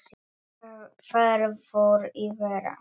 Þar fór í verra.